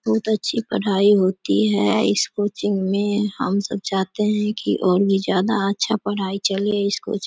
बहुत अच्छी पढ़ाई होती है इस कोचिंग में हम सब चाहते है कि और भी ज्यादा अच्छा पढ़ाई चले इस कोचिंग --